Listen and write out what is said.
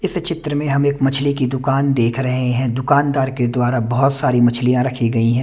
इस चित्र में हम एक मछली की दुकान देख रहे हैं दुकानदार के द्वारा बहुत सारी मछलियाँ रखी गई है।